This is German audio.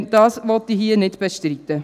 Das will ich hier nicht bestreiten.